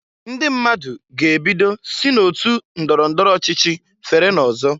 Ndị mmadụ ga-ebido si n'otu ndọrọ ndọrọ ochichi fere n'ọzọ.